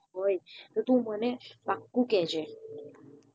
હોય તો તું મને પાક્કું કેજે